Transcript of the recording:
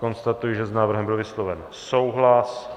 Konstatuji, že s návrhem byl vysloven souhlas.